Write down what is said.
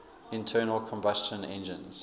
internal combustion engines